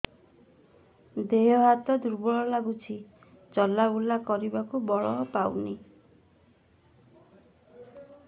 ଦେହ ହାତ ଦୁର୍ବଳ ଲାଗୁଛି ଚଲାବୁଲା କରିବାକୁ ବଳ ପାଉନି